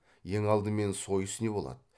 ең алдымен сойыс не болады